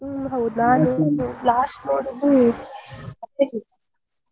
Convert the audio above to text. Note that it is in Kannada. ಹ್ಮ್ ಹೌದಾ ತುಳು last ನೋಡಿದ್ದು ಅಪ್ಪೆ ಟೀಚರ್ .